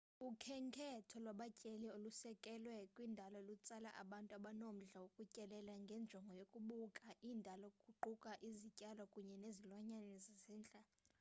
ukhenketho lwabatyeleli olusekelwe kwindalo lutsala abantu abanomdla wokutyelela ngenjongo yokubuka indalo kuquka izityalo kunye nezilwanyana zasendle